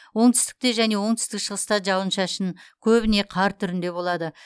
оңтүстікте және оңтүстік шығыста жауын шашын көбіне қар түрінде болады